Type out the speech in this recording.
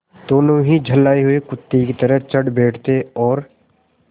दोनों ही झल्लाये हुए कुत्ते की तरह चढ़ बैठते और